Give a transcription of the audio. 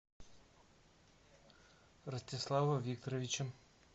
ростислава викторовича